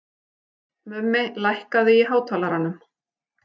Mummi, lækkaðu í hátalaranum.